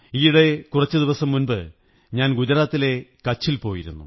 ഈയിടെ കുറച്ചുദിവസം മുമ്പ് ഞാൻ ഗുജറാത്തിലെ കച്ചിൽ പോയിരുന്നു